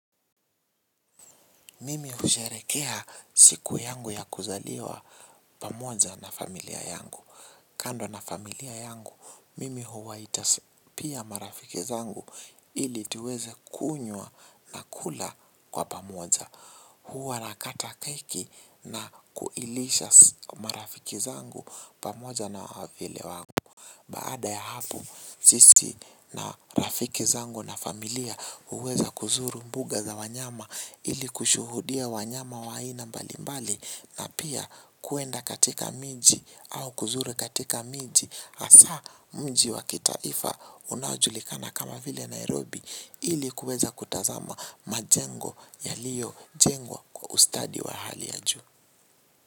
Mimi husherekea siku yangu ya kuzaliwa pamoja na familia yangu. Kando na familia yangu, mimi huwa itaspia marafiki zangu ili tuweze kunywa na kula kwa pamoja. Huwa nakata keki na kuilisha marafiki zangu pamoja na wavyele wangu. Baada ya hafu, sisi na rafiki zangu na familia uweza kuzuru mbuga za wanyama ili kushuhudia wanyama wa aina mbalimbali na pia kuenda katika miji au kuzuru katika miji asa mji wa kitaifa unajulikana kama vile Nairobi ili kueza kutazama majengo yaliyo jengwa kwa ustadi wa hali ya juu.